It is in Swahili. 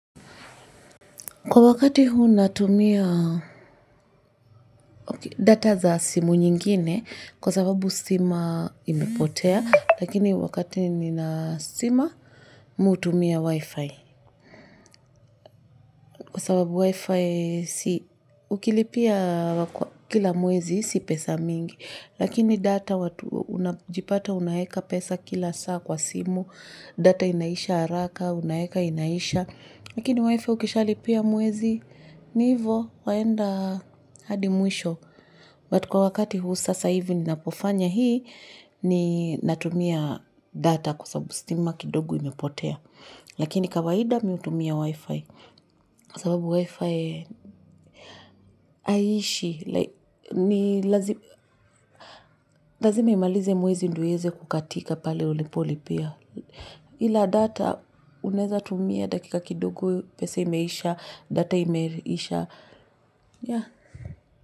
Kwa wakati huu ninatumia data za simu nyingine, kwa sababu sima imepotea, lakini wakati nina sima, hutumia wi-fi. Kwa sababu wi-fi si ukilipia kila mwezi si pesa mingi, lakini data unajipata unaweka pesa kila saa kwa simu, data inaisha haraka, unaweka inaisha. Lakini wifi ukishalipia mwezi ni hivo waenda hadi mwisho. Bati kwa wakati huu sasa hivi ninapofanya hii ninatumia data kwa sababu stima kidogo imepotea. Lakini kawaida hutumia wifi. Sababu wifi aiishi. Lazima imalize mwezi ndio iweze kukatika pale ulipolipia. Ila data unaweza tumia dakika kidogo pesa imeisha data imeisha.